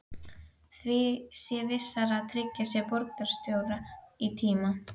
Því sé vissara að tryggja sér borgarstjóra í tíma.